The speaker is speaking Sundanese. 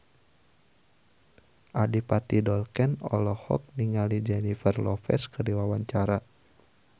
Adipati Dolken olohok ningali Jennifer Lopez keur diwawancara